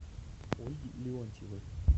ольги леонтьевой